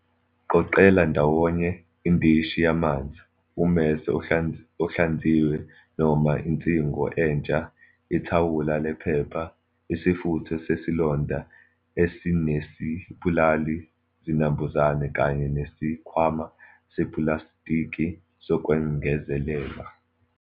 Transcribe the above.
Qoqela ndawonye indishi yamanzi, ummese ohlanziwe noma insingo entsha, ithawula lephepha, isifutho sesilonda esinesibulali zinambuzane kanye nesikhwama sepulasitiki sokwengezelela.